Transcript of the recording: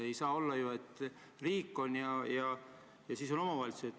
Ei saa ju olla, et riik on ja siis on omavalitsus.